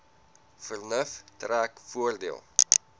vernuf trek voordeel